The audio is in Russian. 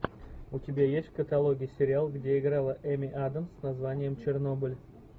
у тебя есть в каталоге сериал где играла эми адамс с названием чернобыль